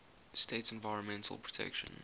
states environmental protection